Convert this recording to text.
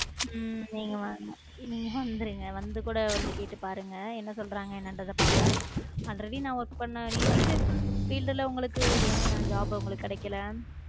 உம் நீங்க வந்~ வந்துருங்க வந்து கூட வந்து கேட்டு பாருங்க என்ன சொல்றாங்க என்னன்றதை பார்ப்போம் already நான் work பண்ண நீங்க teacher field ல உங்களுக்கு ஏன் job உங்களுக்கு கிடைக்கல